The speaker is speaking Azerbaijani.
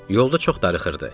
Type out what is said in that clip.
Yolda çox darıxırdı.